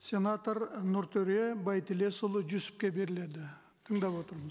сенатор і нұртөре байтілесұлы жүсіпке беріледі тыңдап